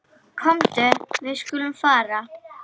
Komdu, við skulum fara.